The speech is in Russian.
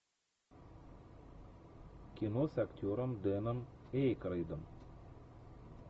кино с актером дэном эйкройдом